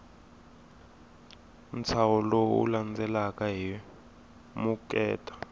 ntshaho lowu landzelaka hi vukheta